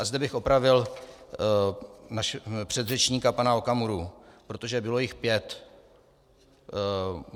A zde bych opravil předřečníka pana Okamuru, protože jich bylo pět.